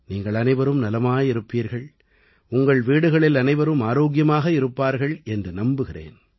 நீங்கள் அனைவரும் நலமாய் இருப்பீர்கள் உங்கள் வீடுகளில் அனைவரும் ஆரோக்கியமாக இருப்பார்கள் என்று நம்புகிறேன்